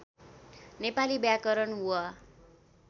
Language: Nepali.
नेपाली व्याकरण वा